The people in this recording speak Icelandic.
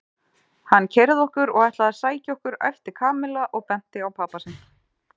Hann keyrði okkur og ætlaði að sækja okkur æpti Kamilla og benti á pabba sinn.